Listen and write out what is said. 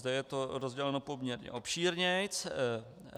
Zde je to rozděleno poměrně obšírněji.